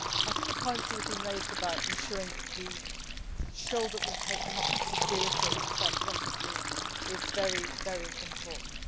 I think the points that have been raised about ensuring that we show that we take democracy seriously and expect Russia to as well are very important.